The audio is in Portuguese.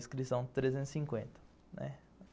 Inscrição trezentos e cinquenta, né?